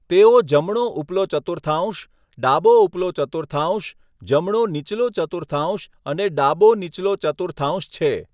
તેઓ જમણો ઉપલો ચતુર્થાંશ, ડાબો ઉપલો ચતુર્થાંશ, જમણો નીચલો ચતુર્થાંશ અને ડાબો નીચલો ચતુર્થાંશ છે.